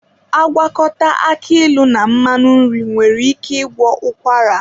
Agwakọta aki ịlụ na mmanụ nri nwere ike ịgwọ ụkwara.